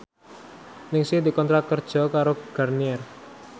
Ningsih dikontrak kerja karo Garnier